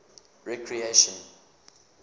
recreation